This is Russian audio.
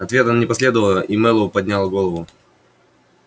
ответа не последовало и мэллоу поднял голову